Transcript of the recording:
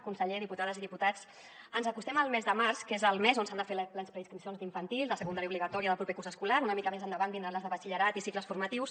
conseller diputades i diputats ens acostem al mes de març que és el mes on s’han de fer les preinscripcions d’infantil de secundària obligatòria del proper curs escolar una mica més endavant vindran les de batxillerat i cicles formatius